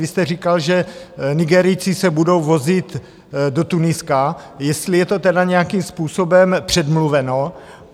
Vy jste říkal, že Nigerijci se budou vozit do Tuniska, jestli je to tedy nějakým způsobem předmluveno.